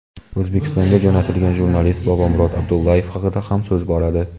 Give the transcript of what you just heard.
O‘zbekistonga jo‘natilgan jurnalist Bobomurod Abdullayev haqida ham so‘z boradi.